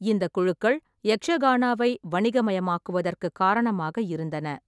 இந்தக் குழுக்கள் யக்ஷகானாவை வணிகமயமாக்குவதற்குக் காரணமாக இருந்தன.